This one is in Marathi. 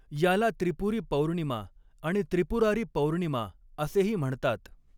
याला त्रिपुरी पौर्णिमा आणि त्रिपुरारी पौर्णिमा असेही म्हणतात.